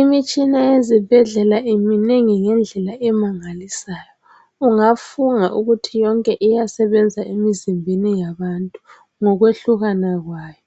Imitshina ezibhedlela iminengi ngendlela emangalisayo ungafunga ukuthi yonke iyasebenza emizimbeni yabantu ngokwehlukana kwayo